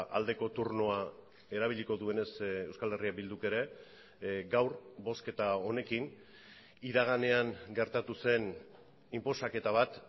aldeko turnoa erabiliko duenez euskal herria bilduk ere gaur bozketa honekin iraganean gertatu zen inposaketa bat